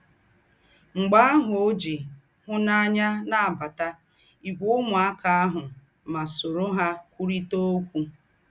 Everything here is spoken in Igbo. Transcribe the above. M̀gbè àhụ̀, ó jì hị̀núnànyà nábàtà ígwè úmùákà àhụ̀ mà sóró hà kwùrị̀tà ókwú.